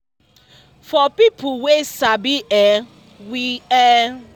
for people wey sabi[um]we um dey between 1-10